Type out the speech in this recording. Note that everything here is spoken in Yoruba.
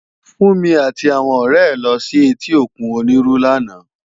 Funmi àti áwòn òrè è lò si èti ókún Oniru làná